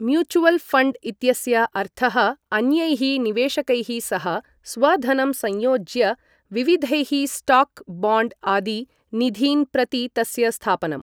Mutual fund इत्यस्य अर्थः अन्यैः निवेशकैः सह स्वधनं संयोज्य, विविधैः स्टॉक्, बाण्ड् आदि निधीन् प्रति तस्य स्थापनम्।